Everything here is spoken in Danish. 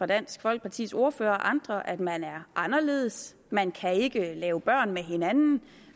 dansk folkepartis ordfører og andre at man er anderledes man kan ikke lave børn med hinanden